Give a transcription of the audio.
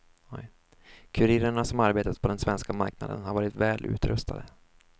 Kurirerna som arbetat på den svenska marknaden har varit väl utrustade.